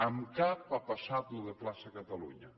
en cap ha passat això de la plaça de catalunya